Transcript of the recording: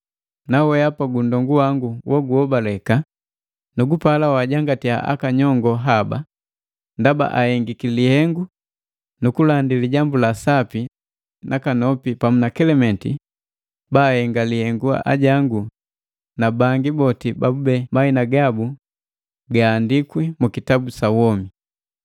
Nawehapa gunndongu wangu woguhobaleka, nugupala wajangatya aka nyongo haba, ndaba ahengiki lihengu lukulandi Lijambu la Sapa nakanopi pamu na Kelementi baahenga lihengu ajangu na bangi boti babube mahina gabu gaahandikwi mu kitabu sa womi.